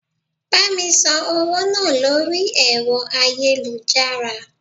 Bá mi san owó náà lórí ẹ̀rọ ayélujára.